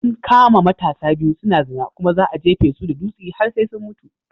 An kama matasa biyu suna zina kuma za'a jefisu da dutsi har sai sun mutu.